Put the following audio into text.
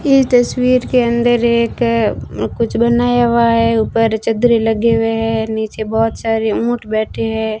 इस तस्वीर के अंदर एक कुछ बनाया हुआ है ऊपर चद्दरें लगे हुए हैं नीचे बहुत सारे ऊंट बैठे है।